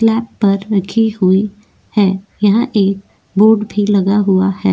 Slab पर रखे हुए है यह एक बोर्ड भी लगा हुआ है।